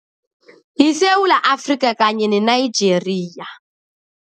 YiSewula Afrika kanye ne-Nigeria.